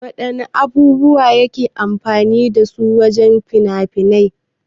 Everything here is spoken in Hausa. Wana abubuwa ake amfani dasu wajan haɗa fina-fiai?